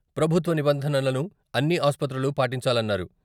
ప్రభుత్వ నిబంధనలను అన్ని ఆసుపత్రులు పాటించాలన్నారు.